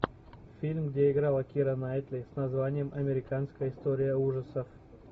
фильм где играла кира найтли с названием американская история ужасов